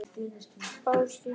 Bárustíg